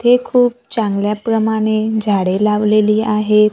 इथे खूप चांगल्या प्रमाणे झाडे लावलेली आहेत.